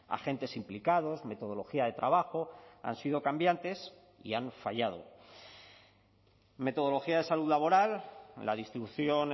agentes implicados metodología de trabajo han sido cambiantes y han fallado metodología de salud laboral la distribución